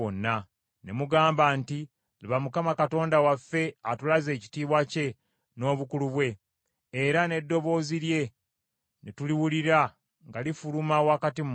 Ne mugamba nti, “Laba, Mukama Katonda waffe atulaze ekitiibwa kye n’obukulu bwe, era n’eddoboozi lye ne tuliwulira nga lifuluma wakati mu muliro.